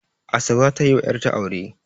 Asabe za ta yi wa 'yatra aure